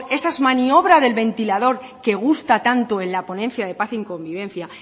esa maniobra del ventilador que gusta tanto en la ponencia de paz y convivencia